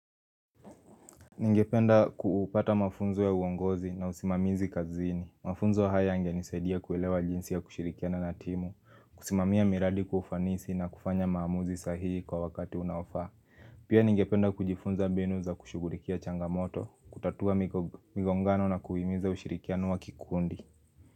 Ningependa kuupata mafunzo ya uongozi na usimamizi kazini. Mafunzo haya yange nisaidia kuelewa jinsi ya kushirikia na natimu, kusimamia miradi kufanisi na kufanya maamuzi sahihi kwa wakati unaofa. Pia ningependa kujifunza mbinu za kushugurikia changamoto, kutatua migongano na kuhimiza ushirikiano wa kikundi.